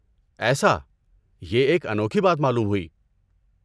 ایسا! یہ ایک انوکھی بات معلوم ہوئی۔